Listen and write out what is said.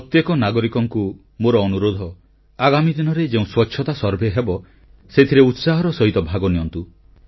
ପ୍ରତ୍ୟେକ ନାଗରିକଙ୍କୁ ମୋର ଅନୁରୋଧ ଆଗାମୀ ଦିନରେ ଯେଉଁ ସ୍ୱଚ୍ଛତା ସର୍ଭେ ହେବ ସେଥିରେ ଉତ୍ସାହର ସହିତ ଭାଗ ନିଅନ୍ତୁ